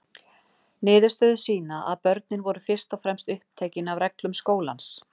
Niðurstöður sýna að börnin voru fyrst og fremst upptekin af reglum skólans.